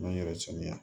N yɛrɛ saniya